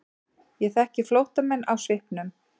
Ég þekki flóttamenn á svipnum.